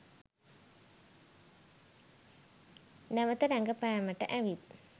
නැවත රඟපෑමට ඇවිත්.